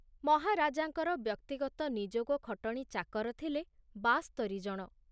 ମହାରାଜାଙ୍କର ବ୍ୟକ୍ତିଗତ ନିଯୋଗ ଖଟଣି ଚାକର ଥିଲେ ବାସ୍ତରି ଜଣ।